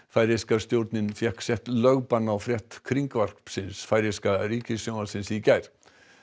færeyska stjórnin fékk sett lögbann á frétt færeyska ríkissjónvarpsins í gær